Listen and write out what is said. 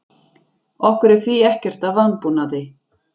Okkur er því ekkert að vanbúnaði